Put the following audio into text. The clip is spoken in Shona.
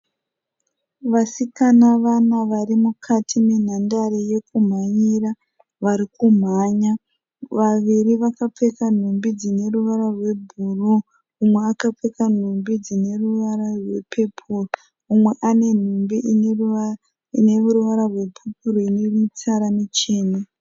Vasikana vana vari mukati menhandare yekumhanyira. Vari kumhanya. Vaviri vakapfeka nhumbi dzine ruvara rwebhuruu. Umwe akapfeka nhumbi dzine ruvara rwepepo. Umwe ane nhumbi ine ruvara rwepepuro ine mitsara michena.